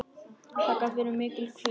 Það gat verið mikil hvíld.